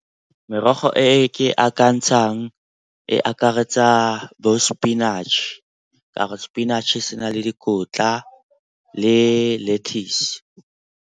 Merogo e ke akantshang e akaretsa bo sepinatšhe ka gore sepinatšhe se na le dikotla le lettuce.